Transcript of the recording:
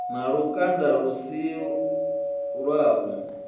na lukanda lu si lwavhu